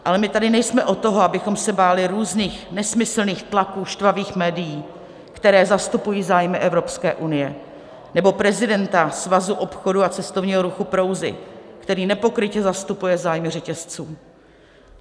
Ale my tady nejsme od toho, abychom se báli různých nesmyslných tlaků štvavých médií, která zastupují zájmy Evropské unie, nebo prezidenta Svazu obchodu a cestovního ruchu Prouzy, který nepokrytě zastupuje zájmy řetězců.